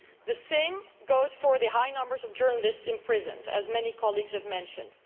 The same goes for the high number of journalists imprisoned, as many colleagues have mentioned.